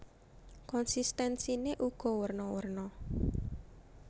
Konsistensiné uga werna werna